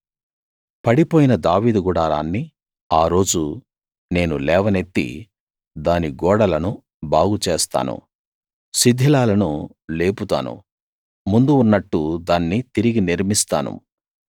పడిపోయిన దావీదు గుడారాన్ని ఆ రోజు నేను లేవనెత్తి దాని గోడలను బాగుచేస్తాను శిథిలాలను లేపుతాను ముందు ఉన్నట్టు దాన్ని తిరిగి నిర్మిస్తాను